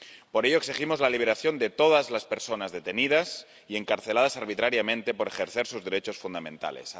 Por ello, exigimos la liberación de todas las personas detenidas y encarceladas arbitrariamente por ejercer sus derechos fundamentales.